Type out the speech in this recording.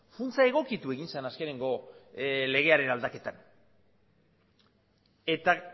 funtsa egokitu egin zen azkeneko legearen aldaketan eta